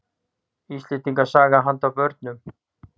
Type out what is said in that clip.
Íslandssaga handa börnum.